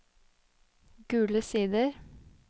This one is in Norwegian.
Gule Sider